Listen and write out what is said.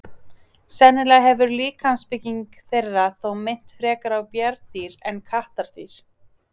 Sennilega hefur líkamsbygging þeirra þó minnt frekar á bjarndýr en kattardýr.